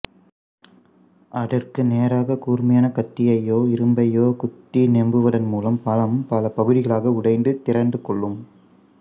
அதற்கு நேராகக் கூர்மையான கத்தியையோ இரும்பையோ குத்தி நெம்புவதன் மூலம் பழம் பல பகுதிகளாக உடைந்து திறந்து கொள்ளும்